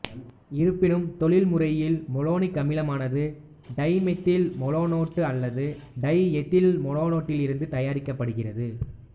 இருப்பினும் தொழில்முறையில் மெலோனிக் அமிலமானது டைமெதில் மெலோனேட்டு அல்லது டைஎதில்மெலோனேட்டிலிருந்து தயாரிக்கப்படுகிறது